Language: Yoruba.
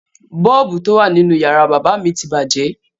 Bọ́ọ̀bù tó wà nínú yàrá bábà mi ti bàjẹ́.